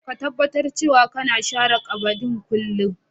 Ka taɓatar cewa kana sharan ƙabadin kullum.